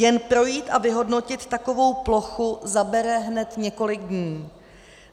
Jen projít a vyhodnotit takovou plochu zabere hned několik dní.